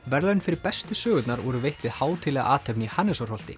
verðlaun fyrir bestu sögurnar voru veitt við hátíðlega athöfn í